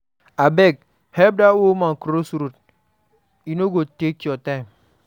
Abeg, help that old woman cross the road, e no go take your time.